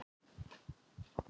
Ummælin voru grín